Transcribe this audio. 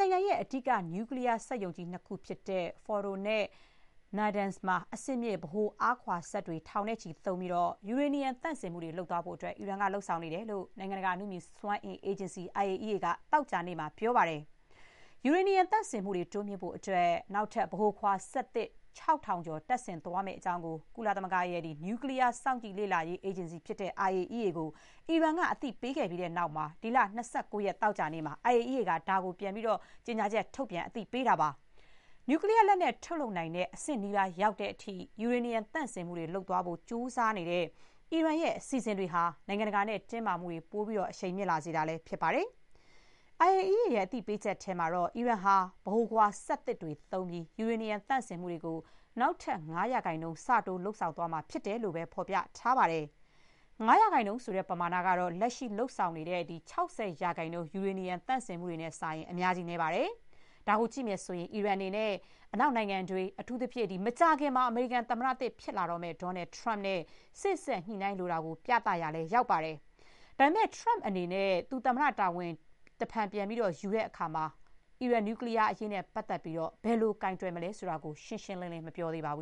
နိုင်ငံရဲ့ အဓိက နျူကလီးယား စက်ရုံကြီးနှစ်ခုဖြစ်တဲ့ Fordo နဲ့ Natanz မှာ အဆင့်မြင့် ဗဟိုအားခွာစက်တွေ ထောင်နဲ့ချီ သုံးပြီး ယူရေနီယံ သန့်စင်မှုတွေ လုပ်သွားဖို့ အီရန်ကလုပ်နေတယ်လို့ နိုင်ငံတကာ အနုမြူစွမ်းအင် အေဂျင်စီ IAEA က သောကြာနေ့က ပြောပါတယ်။ ယူရေနီယံ သန့်စင်မှုတွေ တိုးမြှင့်ဖို့အတွက် နောက်ထပ် ဗဟိုခွာစက်သစ် ၆၀၀၀ ကျော် တပ်ဆင်သွားမယ့်အကြောင်းကို ကုလသမဂ္ဂရဲ့ နျူကလီးယား စောင့်ကြည့် လေ့လာရေး အေဂျင်စီ IAEA ကို အီရန်က အသိပေးခဲ့ပြီးတဲ့နောက် ဒီလ ၂၉ ရက် သောကြာနေ့မှာ IAEA က ဒါကို ကြေညာချက် ထုတ်ပြန် အသိပေးလိုက်တာပါ။ နျူကလီးယား လက်နက် ထုတ်လုပ်နိုင်တဲ့ အဆင့်နီးပါးရောက်တဲ့အထိ ယူရေနီယံ သန့်စင်မှုတွေ လုပ်သွားဖို့ကြိုးစားနေတဲ့ အီရန်ရဲ့ အစီအစဥ်တွေဟာ နိုင်ငံတကာနဲ့ တင်းမာမှုတွေ ပို အရှိန်မြင့်လာစေတာလည်း ဖြစ်ပါတယ်။ IAEA က အသိပေးချက်ထဲမှာတော့ အီရန်ဟာ ဗဟိုခွာစက်သစ်တွေ သုံးပြီး ယူရေနီယံ သန့်စင်မှုတွေကို နောက်ထပ် ၅ % ဆတိုး လုပ်သွားမှာ ဖြစ်တယ်လို့သာ ဖော်ပြထားပါတယ်။ ၅ % ဆိုတဲ့ ပမာဏကတော့ လက်ရှိ လုပ်ဆောင်နေတဲ့ ၆၀% ယူရေနီယံ သန့်စင်မှုတွေနဲ့စာရင် အများကြီး နည်းပါတယ်။ ဒါကိုကြည့်ရင် အီရန်အနေနဲ့ အနောက်နိုင်ငံတွေ၊ အထူးသဖြင့် မကြာခင် အမေရိကန်သမ္မတသစ် ဖြစ်လာမယ့် Donald Trump နဲ့ စေ့စပ်ညှိနှိုင်းလိုတာကို အချက်ပြရာလည်း ရောက်ပါတယ်။ ဒါပေမဲ့ Trump အနေနဲ့ သူ သမ္မတ တာဝန် တဖန်ပြန်ယူတဲ့အခါ အီရန်နျူကလီးယား အရေး ဘယ်လို ကိုင်တွယ်မလဲ ဆိုတာ ရှင်းရှင်းလင်းလင်း မသိရသေးဘူ